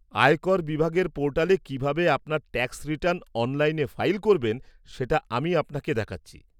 আয়কর বিভাগের পোর্টালে কীভাবে আপনার ট্যাক্স রিটার্ন অনলাইনে ফাইল করবেন সেটা আমি আপনাকে দেখাচ্ছি।